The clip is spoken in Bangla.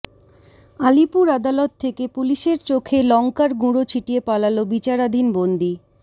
আলিপুর আদালত থেকে পুলিশের চোখে লঙ্কার গুঁড়ো ছিটিয়ে পালাল বিচারাধীন বন্দি